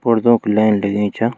पारदों की लेंन लगीं चा।